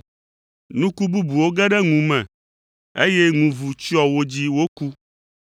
Nuku bubuwo ge ɖe ŋu me, eye ŋu vu tsyɔ wo dzi woku.